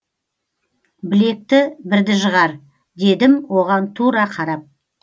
білекті бірді жығар дедім оған тура қарап